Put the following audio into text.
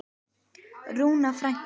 Rúna frænka.